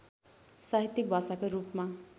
साहित्यिक भाषाका रूपमा